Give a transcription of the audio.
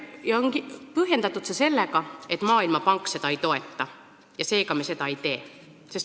Põhjendatud on seda sellega, et Maailmapank seda ei toeta ja seega me seda ei tee.